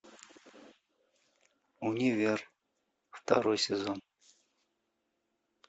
универ второй сезон